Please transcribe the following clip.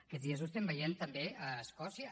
aquests dies ho estem veient també a escòcia